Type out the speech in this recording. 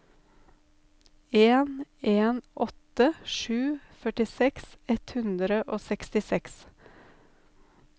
en en åtte sju førtiseks ett hundre og sekstiseks